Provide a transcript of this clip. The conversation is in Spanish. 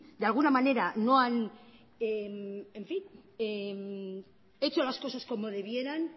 de alguna manera no han hecho las cosas como debieran